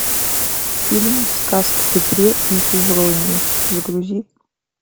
фильм сказ о петре и февронии загрузи